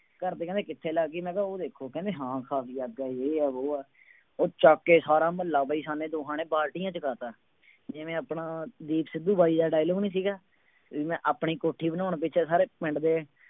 ਘਰਦੇ ਕਹਿੰਦੇ ਕਿੱਥੇ ਲੱਗ ਗਈ, ਮੈਂ ਕਿਹਾ ਉਹ ਦੇਖੋ ਕਹਿੰਦਾ ਹਾਂ ਖਾਸੀ ਅੱਗ ਹੈ ਜੇ ਹੈ ਵੋਹ ਹੈ, ਉਹ ਚੁੱਕ ਕੇ ਸਾਰਾ ਮੁਹੱਲਾ ਵੀ ਅਸਾਂ ਨੇ ਦੋਹਾਂ ਨੇ ਬਾਲਟੀਆਂ ਚੁਕਾ ਦਿੱਤਾ ਜਿਵੇਂ ਆਪਣਾ ਦੀਪ ਸਿੱਧੂ ਬਾਈ ਦਾ dialogue ਨੀ ਸੀਗਾ, ਵੀ ਮੈਂ ਆਪਣੀ ਕੋਠੀ ਬਣਾਉਣ ਪਿੱਛੇ ਸਾਰੇ ਪਿੰਡ ਦੇ